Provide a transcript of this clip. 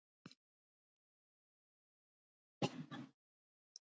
Börkur